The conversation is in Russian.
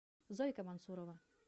зойка мансурова